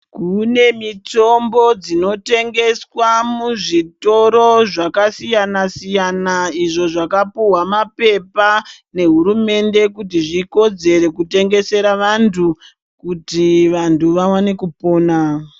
Kune mitombo dzinotengeswa muzvitoro zvakasiyana siyana izvo zvakapuwa mapepa nehurumende kuti zvikodzere kutengesera vantu kuti vantu vaone kupona.